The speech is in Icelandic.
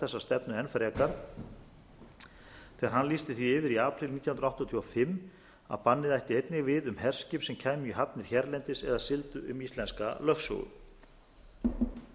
þessa stefnu enn frekar þegar hann lýsti því yfir í apríl nítján hundruð áttatíu og fimm að bannið ætti einnig við um herskip sem kæmu í hafnir hérlendis eða sigldu um íslenska lögsögu þá